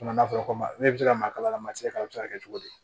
Kuma fɔra ko ne bɛ se ka maa kala masala bɛ se ka kɛ cogo di